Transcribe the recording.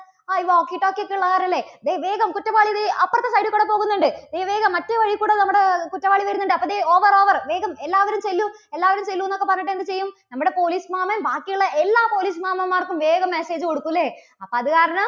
ആ ഈ walkie talkie ഒക്കെ ഉള്ളത് കാരണം അല്ലേ? ദേ വേഗം. കുറ്റവാളി ദേ അപ്പുറത്തെ side ൽ കൂടി പോകുന്നുണ്ട്. ദേ വേഗം മറ്റേ വഴിയിൽ കൂടെ നമ്മുടെ കുറ്റവാളി വരുന്നുണ്ട്. അപ്പോൾ ദേ over over, വേഗം എല്ലാവരും ചെല്ലൂ എല്ലാവരും ചെല്ലു എന്നൊക്കെ പറഞ്ഞിട്ട് എന്ത് ചെയ്യും നമ്മുടെ police മാമൻ ബാക്കിയുള്ള എല്ലാ police മാമൻമാർക്കും വേഗം message കൊടുക്കും അല്ലേ? അപ്പോ അതുകാരണം